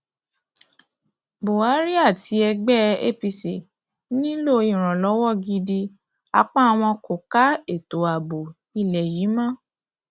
buhari àti ẹgbẹ apc nílò ìrànlọwọ gidi apá wọn kò ká ètò ààbò ilé yìí mọ